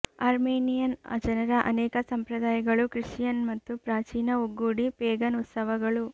Armenian ಜನರ ಅನೇಕ ಸಂಪ್ರದಾಯಗಳು ಕ್ರಿಶ್ಚಿಯನ್ ಮತ್ತು ಪ್ರಾಚೀನ ಒಗ್ಗೂಡಿ ಪೇಗನ್ ಉತ್ಸವಗಳು